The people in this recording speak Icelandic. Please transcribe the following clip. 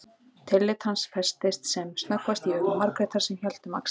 Tillit hans festist sem snöggvast í augum Margrétar sem hélt um axlir